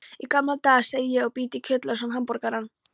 Í gamla daga, segi ég og bít í kjötlausan hamborgarann.